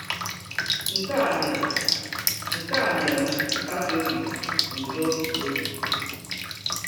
Nke a nyere Nke a nyere m nkasi obi na udo n’obi.